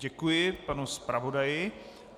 Děkuji panu zpravodaji.